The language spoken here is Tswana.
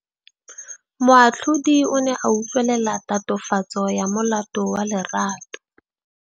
Moatlhodi o ne a utlwelela tatofatsô ya molato wa Lerato.